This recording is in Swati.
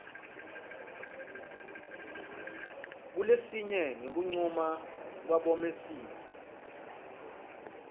kulesinye ngekuncuma kwabomec